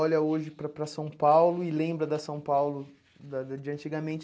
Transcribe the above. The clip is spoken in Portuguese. Olha hoje para para São Paulo e lembra da São Paulo da de antigamente.